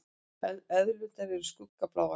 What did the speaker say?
Eðlurnar eru skuggabláar.